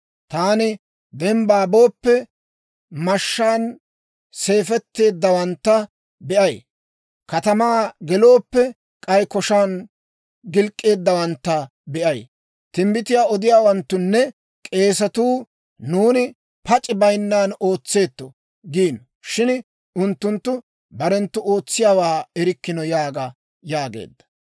Taani dembbaa booppe, mashshaan siifetteeddawantta be'ay. Katamaa gelooppe, k'ay koshan gilk'k'eeddawantta be'ay. Timbbitiyaa odiyaawanttunne k'eesatuu, «Nuuni pac'i bayinnan ootseetto» giino; shin unttunttu barenttu ootsiyaawaa erikkino› yaaga» yaageedda.